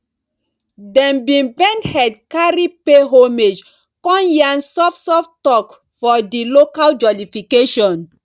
dem bin bend head carry pay homage con yarn soft soft talk for di local jollification